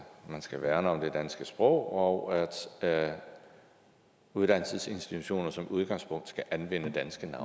man skal værne om det danske sprog og at uddannelsesinstitutioner som udgangspunkt skal anvende danske